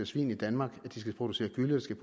svin i danmark at producere gylle til